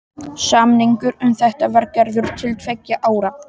Samningur um þetta var gerður til tveggja ára.